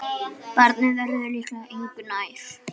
Barnið verður líklega engu nær.